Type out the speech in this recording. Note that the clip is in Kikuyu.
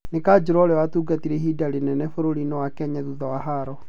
Nĩ kajũra ũrĩa watugatire ihinda rĩnene bũrũrinĩ wa Kenya thutha wa haro.